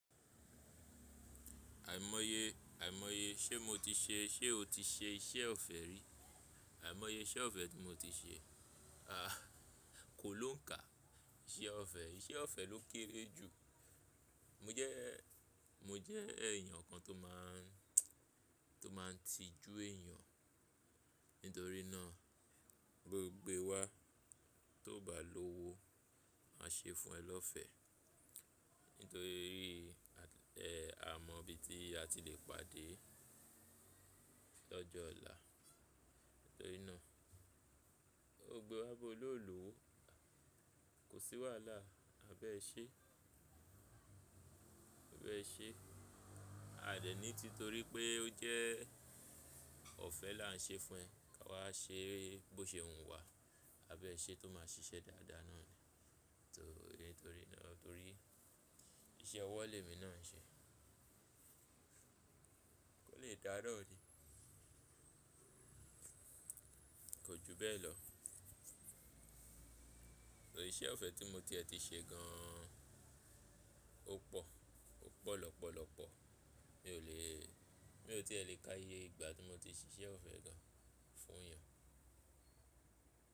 Àìmọye, àìmọye, ṣé mo ti ṣe, ṣe o ti ṣe iṣẹ́ ọ̀fẹ́ rí? Àìmọye iṣẹ́ ọ̀fẹ́ tí mo ti ṣe, a, kò lóǹká. Iṣẹ́ ọ̀fẹ́, iṣẹ́ ọ̀fẹ́ ló kéré jù. Mo jẹ́, mo jẹ́ èèyàn kan tó máa n tíì jú èèyàn nítorí náà Bo gbe wa tó ò bá lówó máa ṣe fún ẹ lọ́fẹ́. Nítorí bí, ẹ, a mọ̀ bí tí a ti le pàdé lọ́jọ́ ọ̀la. Nítorí náà bo gbe wa bó ló lówó kò sí wàhálà. Maa bẹ ṣe, maa bẹ ṣe? A dẹ̀ ní ti torí pé ó jẹ́ ọ̀fẹ́ là ń ṣe fún ẹ. Ka wá ṣe é bó ṣe wù wá. Maa bẹ ṣe tó máa ṣiṣẹ́ dáadáa náà ni. Torí, torí náà, torí iṣẹ́ ọwọ́ lèmi náà ń ṣe. Kò lè dáa naa ni. Kò ju bẹ́ẹ̀ lọ. Ìṣẹ́ ọ̀fẹ́ tí mo tiẹ̀ ti ṣe gan, ó pọ̀, ó pọ̀ lọ́pọ̀lọpọ̀. Mi ò lè, mi ò tí è lè káyé ìgbà tí mo ti ṣí iṣẹ́ ọ̀fẹ́ gan fún èèyàn.